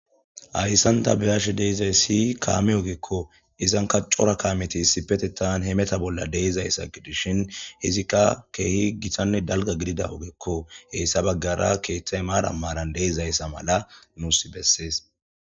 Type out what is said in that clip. Hayisan ta be ashe dizayisi kame ogeko izanka co,ra kameti isspetettan bishe dizayissanne izika kehi gitanne dalga gidida sohoko izika kethayi maran maran dizayisa nusi besees